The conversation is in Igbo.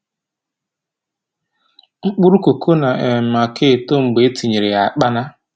Mkpụrụ koko na um aka eto mgbe e tinyere ya akpana